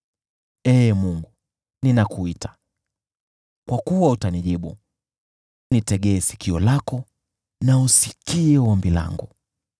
Ee Mungu, ninakuita, kwa kuwa utanijibu, nitegee sikio lako na usikie ombi langu.